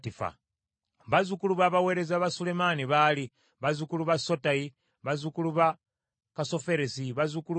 Bazzukulu b’abaweereza ba Sulemaani baali: bazzukulu ba Sotayi, bazzukulu ba Kassoferesi, bazzukulu ba Peruda,